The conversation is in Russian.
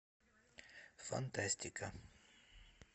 фантастика